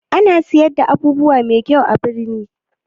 Ana siyar da abubuwa mai kyau a birni?